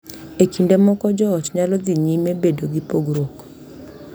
E kinde moko, joot nyalo dhi nyime bedo gi pogruok,